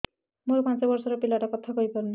ମୋର ପାଞ୍ଚ ଵର୍ଷ ର ପିଲା ଟା କଥା କହି ପାରୁନି